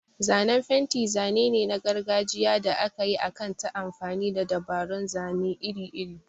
Zanen fenti zane ne na gargajiya da aka yi akan ta amfani da dabarun zane iri-iri.